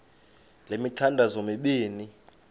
le mithandazo mibini